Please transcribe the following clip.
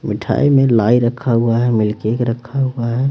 मिठाई में लाई रखा हुआ है मिल्क केक रखा हुआ है।